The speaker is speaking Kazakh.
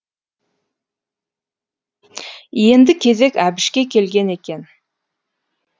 енді кезек әбішке келген екен